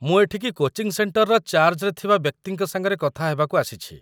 ମୁଁ ଏଠିକି କୋଚିଂ ସେଣ୍ଟରର ଚାର୍ଜ୍‌ରେ ଥିବା ବ୍ୟକ୍ତିଙ୍କ ସାଙ୍ଗରେ କଥା ହେବାକୁ ଆସିଛି ।